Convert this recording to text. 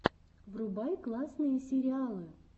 врубай классные сериалы